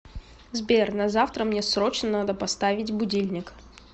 сбер на завтра мне срочно надо поставить будильник